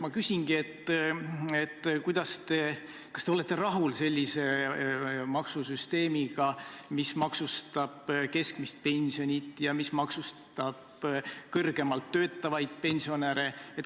Ma küsingi: kas te olete rahul sellise maksusüsteemiga, mis maksustab keskmist pensioni ja mis maksustab kõrgemalt töötavaid pensionäre?